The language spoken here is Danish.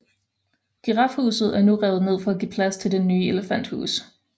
Girafhuset er nu revet ned for at give plads til Det nye elefanthus